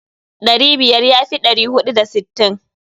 Ɗari biyar ya fi ɗari huɗu da sittin.